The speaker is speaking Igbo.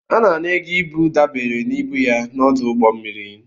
A na-ana ego ibu dabere na ibu ya n'ọdụ ụgbọ mmiri.